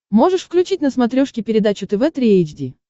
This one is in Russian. можешь включить на смотрешке передачу тв три эйч ди